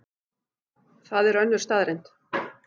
Það er önnur staðreynd.